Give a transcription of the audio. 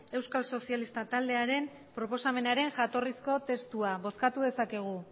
euskal sozialista taldearen proposamenaren jatorrizko testua bozkatu dezakegu